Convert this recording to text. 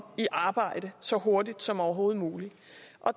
i arbejde så hurtigt som overhovedet muligt